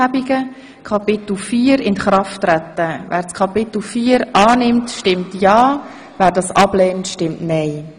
Wer Kapitel IV über das Inkrafttreten annimmt, stimmt ja, wer das ablehnt, stimmt nein.